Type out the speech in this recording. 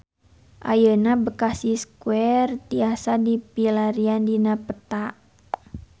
Ayeuna Bekasi Square tiasa dipilarian dina peta